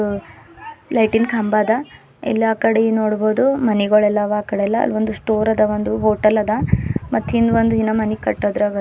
ಅ ಲೈಟಿ ನ್ ಕಂಬ ಅದ ಎಲ್ಲಾ ಕಡಿ ನೋಡಬೊದು ಮನಿಗೊಳ ಎಲ್ಲಾ ಆವಾ ಆಕಡಿಯಲ್ಲಾ ಒಂದು ಸ್ಟೋರ್ ಅದ ಒಂದು ಹೋಟೆಲ್ ಅದ ಮತ್ತ ಹಿಂದ ಒಂದ ಮಣಿ ಕಟ್ಟೋದರಾಗ --